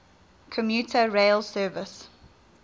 commuter rail service